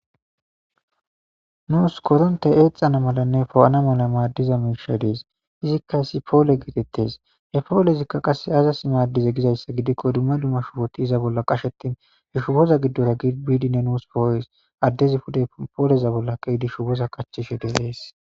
nuus koronte eexana malanne poo7ana mala maaddiza miisha dees izikka isi poole geetettes he poole zikka qase aazasi maaddize gizayssa gidikko dumma dumma shupoti iza bolla qashetin h shuboza giddora gibiidinne nuus pooes addezi puday pooleza bolla qeydi shu boza kachishe dehees